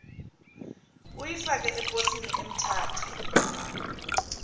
uyifake eposini emthatha